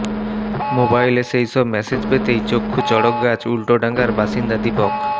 মোবাইলে সেইসব মেসেজ পেতেই চক্ষু চড়কগাছ উল্টোডাঙার বাসিন্দা দীপক